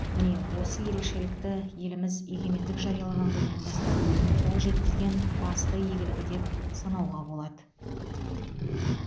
міне осы ерекшелікті еліміз егемендік жариялаған күннен бастап қол жеткізген басты игілігі деп санауға болады